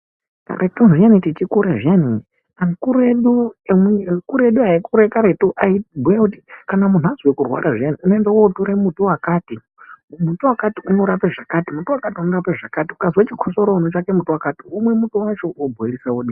Karetu zviyani techikura zviyani akuru edu aikura karetu aibhuya kuti hayi kana muntu abve kurwara zviyani unoende kotora muti wakati unorape zvakati muti wakati unorape zvakati ukazwe chikotsoro unotora muti wakati wobhoirisa womwa.